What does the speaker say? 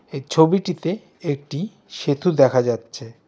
এই ছবিটিতে একটি সেতু দেখা যাচ্ছে।